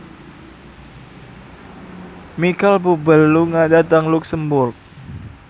Micheal Bubble lunga dhateng luxemburg